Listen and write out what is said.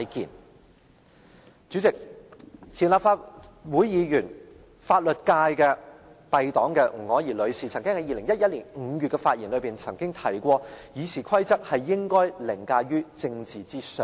代理主席，前立法會議員，來自法律界敝黨的吳靄儀女士曾經在2011年5月的發言中提出《議事規則》應該凌駕於政治之上。